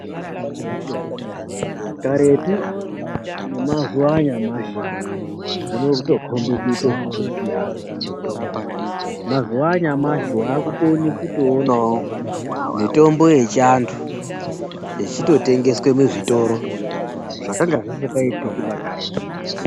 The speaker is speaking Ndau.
Karetu nemazuwaanyamashi zvode kutokombe kuita zvatosiyana mazuwaanyamshi waakukone kutoonao mitombo yechianthu ichitotengeswa muzvitoro zvakanga zvisingaitiki karetu.